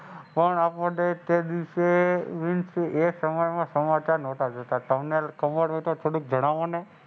પણ તે દિવસે એ સમયમાં સમાચાર નોતા જોતાં. તમને ખબર હોય તો થોડુંક જણાવાનું.